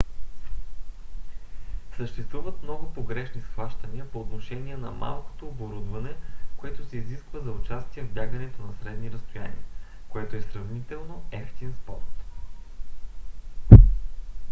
съществуват много погрешни схващания по отношение на малкото оборудване което се изисква за участие в бягането на средни разстояния което е сравнително евтин спорт